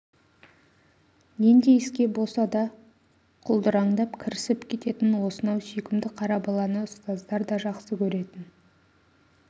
нендей іске болса да құлдыраңдап кірісіп кететін осынау сүйкімді қара баланы ұстаздар да жақсы көретін